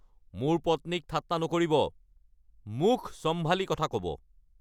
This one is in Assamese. মোৰ পত্নীক ঠাট্টা নকৰিব! মুখ চম্ভালি কথা ক'ব!